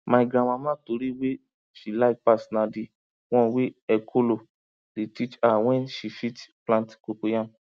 my grandmama tori wey she like pass na d one wey ekolo dey teach her where she fit plant cocoyam